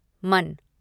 मन